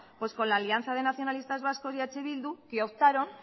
pues con la alianza de nacionalistas vascos y eh bildu que optaron